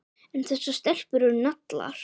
En þessar stelpur eru naglar.